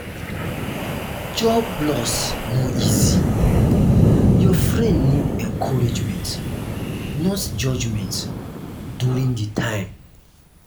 job loss no easy; your friend need encouragement not judgement during di time. um